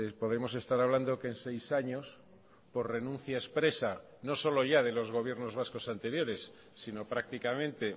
podemos estar hablando que en seis años por renuncia expresa no solo ya de los gobiernos vascos anteriores sino prácticamente